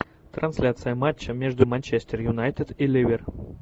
трансляция матча между манчестер юнайтед и ливер